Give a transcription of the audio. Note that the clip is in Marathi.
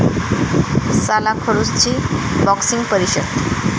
साला खडूस'ची 'बॉक्सिंग' परिषद